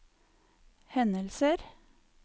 hendelser